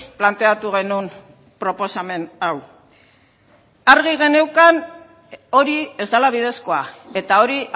planteatu genuen proposamen hau argi geneukan hori ez dela bidezkoa eta hori